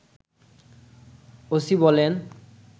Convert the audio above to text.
ওসিবলেন